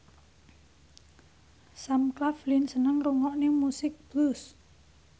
Sam Claflin seneng ngrungokne musik blues